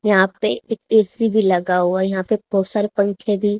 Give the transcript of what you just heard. यहां पे एक ए_सी भी लगा हुआ है यहां पे बहोत सारे पंखे भी--